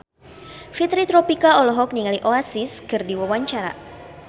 Fitri Tropika olohok ningali Oasis keur diwawancara